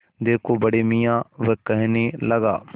देखो बड़े मियाँ वह कहने लगा